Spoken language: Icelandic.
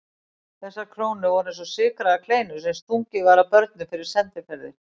Þessar krónur voru eins og sykraðar kleinur sem stungið var að börnum fyrir sendiferðir.